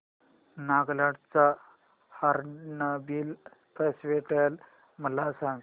नागालँड चा hornbill festival मला सांग